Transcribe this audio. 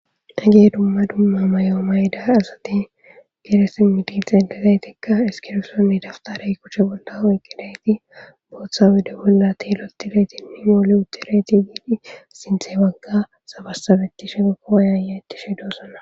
Hage dumma mayo mayda asati gde simidi xeelizaytikka iskibiritonne dawutare kushe bolla oqidayti booththa oyde bolla uttidayti sinthe baga sabasabetishene woyayayetshe doosona.